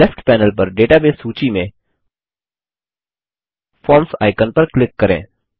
left panel पर database सूची में फॉर्म्स आइकन पर क्लिक करें